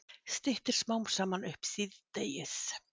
Styttir smám saman upp síðdegis